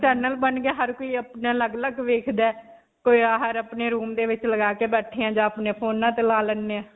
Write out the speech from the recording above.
channel ਬਣ ਗਿਆ. ਹਰ ਕੋਈ ਅਪਣਾ ਅਲੱਗ-ਅਲੱਗ ਦੇਖਦਾ ਹੈ. ਕੋਈ ਅਅ ਹਰ ਅਪਨੇ room ਦੇ ਵਿੱਚ ਲਗਾ ਕੇ ਬੈਠੇ ਹਾਂ ਜਾਂ ਅਪਨੇ ਫੋਨਾਂ 'ਚ ਲਾ ਲੈਂਦੇ ਹਾਂ.